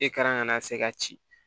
E ka na se ka ci